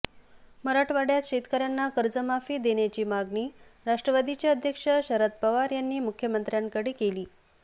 मराठवाड्यात शेतकऱ्यांना कर्जमाफी देण्याची मागणी राष्ट्रवादीचे अध्यक्ष शरद पवार यांनी मुख्यमंत्र्यांकडे केलीय